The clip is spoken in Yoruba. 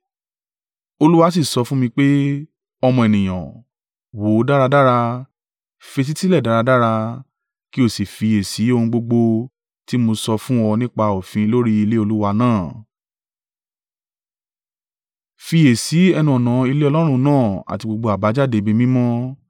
Olúwa sì sọ fún mì pé, “Ọmọ ènìyàn, wò dáradára, fetísílẹ̀ dáradára kí o sì fiyèsí ohun gbogbo tí mo sọ fún ọ nípa òfin lórí ilé Olúwa náà. Fiyèsí ẹnu-ọ̀nà ilé Ọlọ́run náà àti gbogbo àbájáde ibi mímọ́.